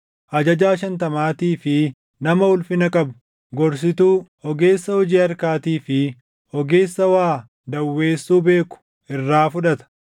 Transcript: ajajaa shantamaatii fi nama ulfina qabu, gorsituu, ogeessa hojii harkaatii fi // ogeessa waa dawweessuu beeku irraa fudhata.